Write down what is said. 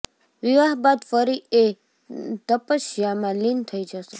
વિવાહ બાદ ફરી એ તપસ્યામાં લીન થઇ જશે